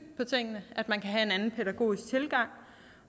på tingene at man kan have en anden pædagogisk tilgang